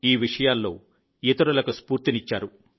ఈ విషయాల్లో ఇతరులకు స్ఫూర్తినిచ్చారు